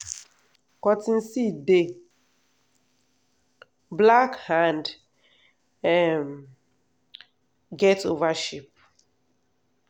cotton seed dey black and e um get oval shape.